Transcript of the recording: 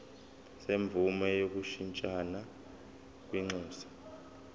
semvume yokushintshisana kwinxusa